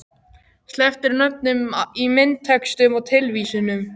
Sleppt er nöfnum í myndatextum og tilvísunum